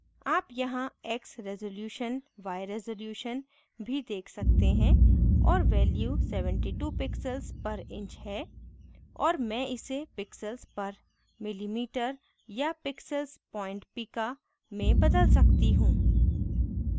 आप यहाँ x resolution x resolution भी देख सकते हैं और value 72 pixels पर inch है और मैं इसे pixels पर millimeter या pixels point pica में बदल सकती you